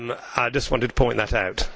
I just wanted to point that out.